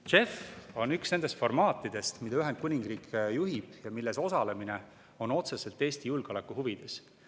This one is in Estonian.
JEF on üks nendest formaatidest, mida Ühendkuningriik juhib ja milles osalemine on otseselt Eesti julgeoleku huvides.